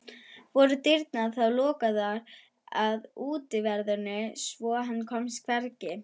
Voru dyrnar þá lokaðar að utanverðu svo hann komst hvergi.